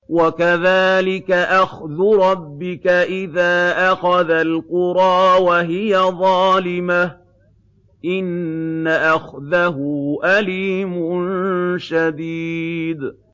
وَكَذَٰلِكَ أَخْذُ رَبِّكَ إِذَا أَخَذَ الْقُرَىٰ وَهِيَ ظَالِمَةٌ ۚ إِنَّ أَخْذَهُ أَلِيمٌ شَدِيدٌ